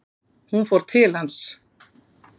Hún fór til hans.